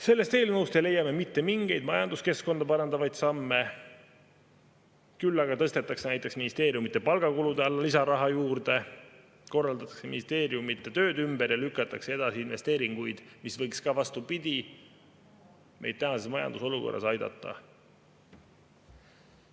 Sellest eelnõust ei leia me mitte mingeid majanduskeskkonda parandavaid samme, küll aga tõstetakse näiteks ministeeriumide palgakulude alla lisaraha juurde, korraldatakse ministeeriumide tööd ümber ja lükatakse edasi investeeringuid, mis võiks ka, vastupidi, meid tänases majandusolukorras aidata.